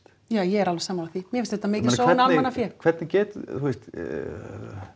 já ég er alveg sammála því mér finnst þetta mikil sóun á almannafé hvernig getur þú veist